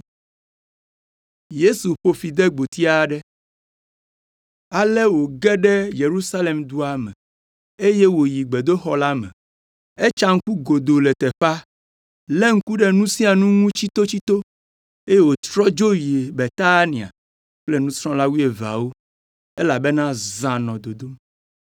Ale wòge ɖe Yerusalem dua me, eye woyi gbedoxɔ la me. Etsa ŋku godoo le teƒea, lé ŋku ɖe nu sia nu ŋu tsitotsito, eye wòtrɔ dzo yi Betania kple nusrɔ̃la wuieveawo elabena zã nɔ dodom.